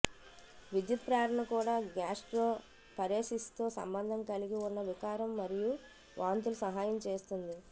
విద్యుత్ ప్రేరణ కూడా గ్యాస్ట్రోపరేసిస్తో సంబంధం కలిగి ఉన్న వికారం మరియు వాంతులు సహాయం చేస్తుంది